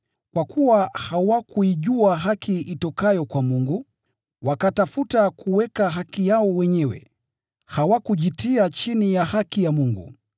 Kwa kuwa hawakuijua haki itokayo kwa Mungu, wakatafuta kuweka haki yao wenyewe, hawakujitia chini ya haki ya Mungu.